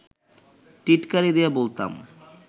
টিটকারি দিয়ে বলতাম